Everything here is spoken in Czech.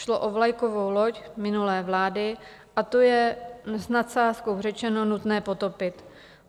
Šlo o vlajkovou loď minulé vlády, a to je, s nadsázkou řečeno, nutné potopit.